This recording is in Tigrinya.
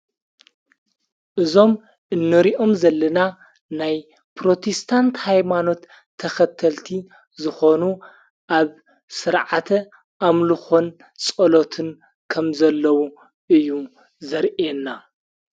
እዞም እኖሪኦም ዘለና ናይ ጵሮቴስታንቲ ኃይማኖት ተኸተልቲ ዝኾኑ ኣብ ሥርዓተ ኣምሉኾን ጸሎትን ከም ዘለዉ እዩ ዘርአና።